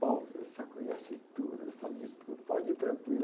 eles já conhecem tudo, eles sabem de tudo, pode ir tranquilo.